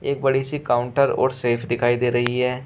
एक बड़ी सी काउंटर और सेफ दिखाई दे रही है।